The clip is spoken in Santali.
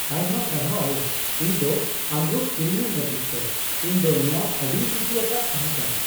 ᱟᱭᱢᱟ ᱥᱟᱨᱦᱟᱣ, ᱟᱭᱳ ! ᱤᱧ ᱱᱚᱣᱟ ᱟᱸᱜᱨᱚᱯ ᱠᱤᱨᱤᱧᱟᱹᱧ ᱞᱟᱹᱜᱤᱫ ᱛᱮ, ᱤᱧ ᱫᱚ ᱱᱚᱣᱟ ᱟᱹᱰᱤᱧ ᱠᱩᱥᱤᱭᱟᱠᱟᱫ ᱛᱟᱦᱮᱸ ᱠᱟᱱᱟ ᱾